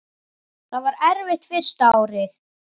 Það var erfitt fyrsta árið.